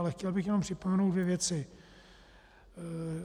Ale chtěl bych jenom připomenout dvě věci.